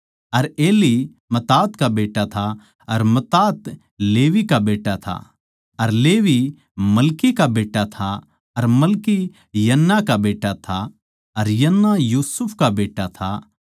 अर Eli Matthat का बेट्टा था अर मत्तात लेवी का बेट्टा था अर लेवी मलकी का बेट्टा था अर मलकी यन्ना का बेट्टा था अर यन्ना यूसुफ का बेट्टा था